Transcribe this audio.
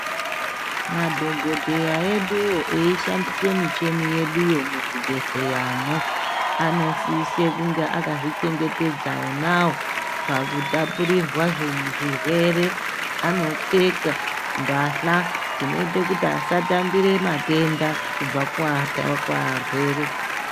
Madhogodheya eduwo eishandise michini yeduyo muzvibhedhleyamo anosise kunge akazvichengetedza onawo pakutapurirwa zvirwere anopfeka mbahla dzinoita kuti asatambire matenda kubve kuata kuarwere